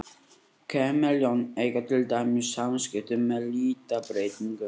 Kameljón eiga til dæmis samskipti með litabreytingum.